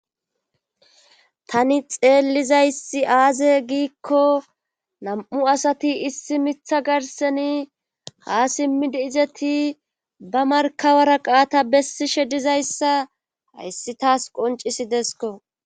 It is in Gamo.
Tani xeelizayssi aaze giiko nam'u asati issi miththa garssenni ha simidi izatti ba markka waraqata bessishe dizayssa hayssi tas qonccisideskko.